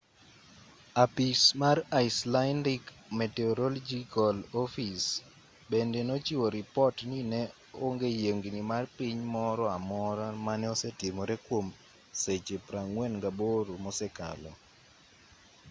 apis mar icelandic meteorological office bende nochiwo ripot ni ne onge yiengni mar piny moro amora mane osetimore kwom seche 48 mosekalo